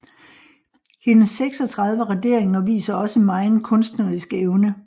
Hendes 36 raderinger viser også megen kunstnerisk evne